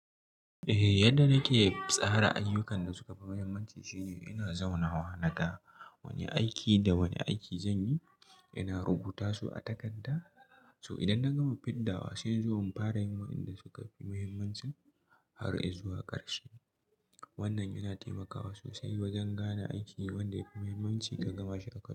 Eh, yadda nake tsara ayyukan da suka fi muhimmanci shine ina zauna na ga da wane aiki da wane aiki zan yi. Ina rubuta su a takarda, so idan na gama fidda wa sai zuwa in fara yawon inda suka fi muhimmanci har ai zuwa ƙarshe. Wannan yana taimakawa sosai wajen gane aiki wanda ya fi muhimmanci ka gama shi a karshe.